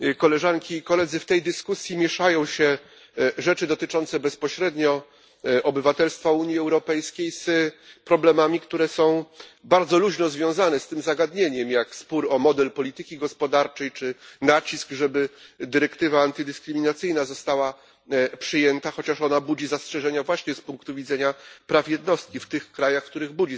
W tej dyskusji mieszają się rzeczy dotyczące bezpośrednio obywatelstwa Unii Europejskiej z problemami, które są bardzo luźno związane z tym zagadnieniem, jak spór o model polityki gospodarczej czy nacisk, żeby dyrektywa antydyskryminacyjna została przyjęta, chociaż ona budzi zastrzeżenia właśnie z punktu widzenia praw jednostki w tych krajach, w których budzi zastrzeżenia.